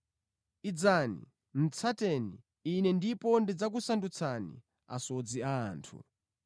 Yesu anati, “Bwerani, tsateni Ine ndipo ndidzakusandutsani asodzi a anthu.”